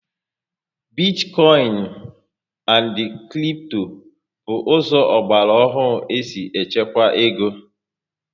Bitikoinu and kripto bụ ụzọ ọgbara ohu esi echekwa égo